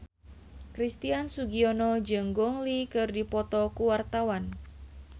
Christian Sugiono jeung Gong Li keur dipoto ku wartawan